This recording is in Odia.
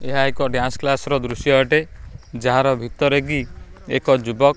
ଏହା ଏକ ଡ୍ୟାନ୍ସ କ୍ଲାସ ର ଦୃଶ୍ୟ ଅଟେ ଯାହାର ଭିତରେ ବି ଏକ ଯୁବକ।